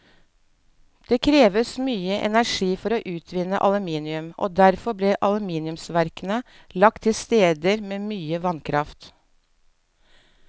Det kreves mye energi for å utvinne aluminium, og derfor ble aluminiumsverkene lagt til steder med mye vannkraft.